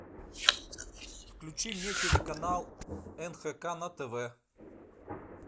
включи мне телеканал нхк на тв